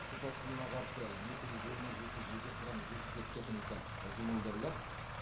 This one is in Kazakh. су тасқынына қарсы екі жүз жиырма жеті жеке құрам жүз жетпіс төрт техника жұмылдырылады